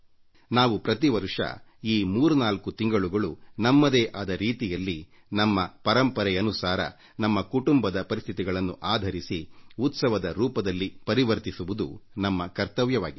ನಾವು ಪ್ರತಿವರ್ಷ ಈ ಮೂರ್ನಾಲ್ಕು ತಿಂಗಳುಗಳನ್ನು ನಮ್ಮದೇ ಆದ ರೀತಿಯಲ್ಲಿ ನಮ್ಮ ನಮ್ಮ ಪರಂಪರೆಗನುಸಾರವಾಗಿ ನಮ್ಮ ಕುಟುಂಬದ ಪರಿಸ್ಥಿತಿಗಳನ್ನು ಆಧರಿಸಿ ಉತ್ಸವವಾಗಿ ಪರಿವರ್ತಿಸುವುದು ನಮ್ಮ ಕರ್ತವ್ಯವಾಗಿದೆ